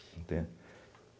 Entende?